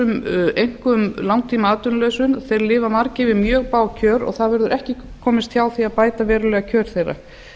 atvinnulausir einkum langtímaatvinnulausir lifa margir við mjög bág kjör og það verður ekki komist hjá því að bæta verulega kjör þeirra